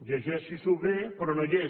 llegeixi s’ho bé però no hi és